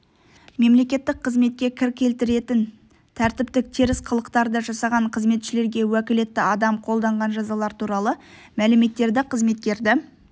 мемлекеттік қызметке кір келтіретін тәртіптік теріс қылықтарды жасаған қызметшілерге уәкілетті адам қолданған жазалар туралы мәліметтерді қызметкерді